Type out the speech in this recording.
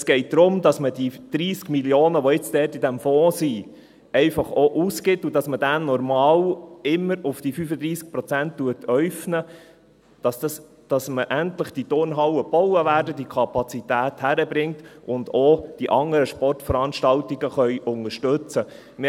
– Es geht darum, dass man die 30 Mio. Franken, die jetzt dort in diesem Fonds sind, einfach auch ausgibt, und dass man diesen normal immer auf diese 35 Prozent äufnet, damit endlich diese Turnhallen gebaut werden, man diese Kapazität hin- bekommt und auch die anderen Sportveranstaltungen unterstützen kann.